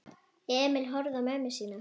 Emil horfði á mömmu sína.